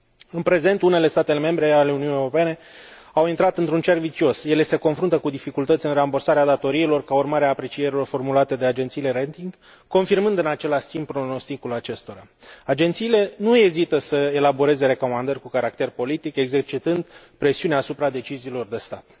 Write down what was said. În prezent, unele state membre ale Uniunii Europene au intrat într un cerc vicios ele se confruntă cu dificultăți în rambursarea datoriilor, ca urmare a aprecierilor formulate de agenții de rating, confirmând, în același timp, pronosticul acestora. Agențiile nu ezită să elaboreze recomandări cu caracter politic, exercitând presiuni asupra deciziilor de stat.